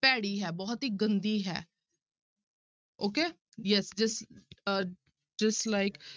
ਭੈੜੀ ਹੈ ਬਹੁਤ ਹੀ ਗੰਦੀ ਹੈ okay yes ਡਿਸ~ ਅਹ dislike